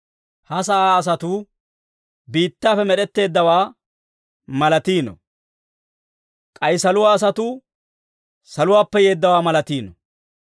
Ha sa'aa asatuu biittaappe med'etteeddawaa malatiino. K'ay saluwaa asatuu saluwaappe yeeddawaa malatiino.